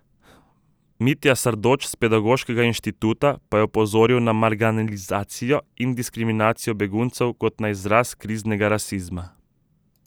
Mitja Sardoč s Pedagoškega inštituta pa je opozoril na marginalizacijo in diskriminacijo beguncev kot na izraz kriznega rasizma.